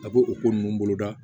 A bɛ o ko ninnu boloda